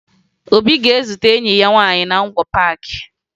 Obi ga-ezute enyi ya nwaanyị na Ngwo Paakị